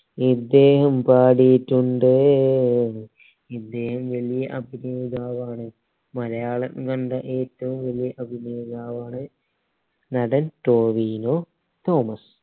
ഇദ്ദേഹം പാടിയിട്ടുണ്ട് ഇദ്ദേഹം വലിയ അഭിനേതാവാണ് മലയാളം കണ്ട ഏറ്റവും വലിയ അഭിനേതാവാണ് നടൻ ടോവിനോ തോമസ്